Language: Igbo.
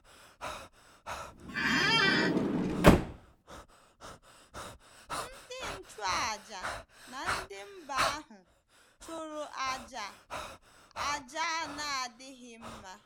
Ndị nchụàjà na ndị mba ahụ chụrụ àjà a àjà a na-adịghị mma.